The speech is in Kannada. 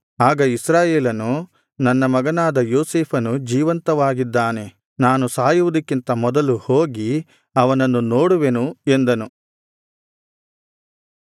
ಆಗ ಇಸ್ರಾಯೇಲನು ನನ್ನ ಮಗನಾದ ಯೋಸೇಫನು ಜೀವಂತವಾಗಿದ್ದಾನೆ ನಾನು ಸಾಯುವುದಕ್ಕಿಂತ ಮೊದಲು ಹೋಗಿ ಅವನನ್ನು ನೋಡುವೆನು ಎಂದನು